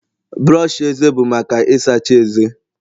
brọsh eze bụ maka Ị sacha ezé